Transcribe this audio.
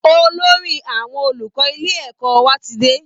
Olórí àwọn olùkọ́ ilé ẹ̀kọ́ wa ti dé